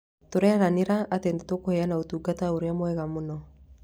Tũreranira atĩ nĩ tũkũheana ũtungata ũrĩa mwega mũno.